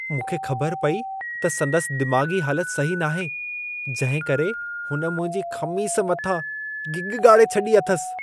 मूंखे ख़बर पई त संदसि दिमाग़ी हालत सही नाहे जंहिंकरे हुन मुंहिंजी ख़मीस मथां गिग ॻाड़े छॾी आथसि।